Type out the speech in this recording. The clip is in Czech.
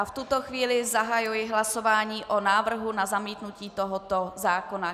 A v tuto chvíli zahajuji hlasování o návrhu na zamítnutí tohoto zákona.